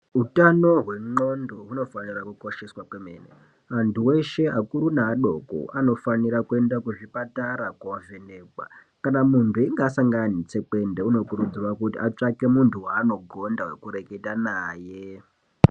Hutano hwendxondo hinofanira kukosheswa kwemene vantu veshe vakuru nevadoko vanofanira kuenda kuzvipatara kunovhenekwa kana muntu einge asangana netsekwende unokurudzirwa kuti atsvake muntu waanogonda ekureketa naye .